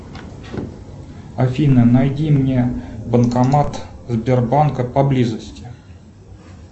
афина найди мне банкомат сбербанка поблизости